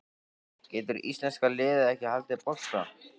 Getur íslenska liðið ekki haldið bolta?